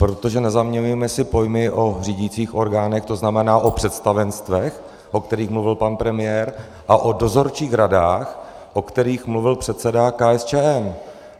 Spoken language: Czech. Protože nezaměňujme si pojmy o řídících orgánech, to znamená o představenstvech, o kterých mluvil pan premiér, a o dozorčích radách, o kterých mluvil předseda KSČM.